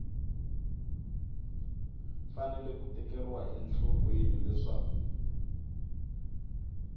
fanele ku tekeriwa enhlokweni leswaku